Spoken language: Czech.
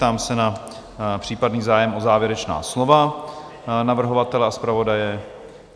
Ptám se na případný zájem o závěrečná slova navrhovatele a zpravodaje?